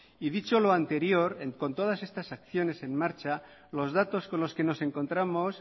y dicho lo anterior con todas estas acciones en marcha los datos con los que nos encontramos